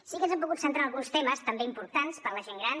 sí que ens hem pogut centrar en alguns temes també importants per a la gent gran